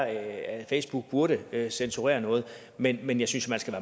at facebook burde censurere noget men men jeg synes man skal